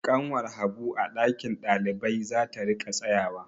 Ƙanwar Habu a ɗakin ɗalibai za ta riƙa tsayawa.